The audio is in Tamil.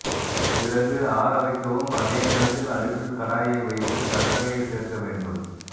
பிறகு ஆற வைக்கவும் அதே நேரத்தில் அடுப்பில் கடாயை வைத்து சர்க்கரையை சேர்க்க வேண்டும்